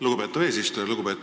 Lugupeetav eesistuja!